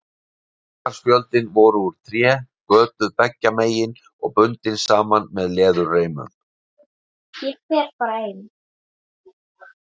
Bókarspjöldin voru úr tré, götuð beggja megin og bundin saman með leðurreimum.